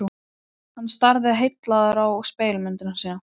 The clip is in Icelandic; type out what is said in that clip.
Hann starði heillaður á spegilmynd sína.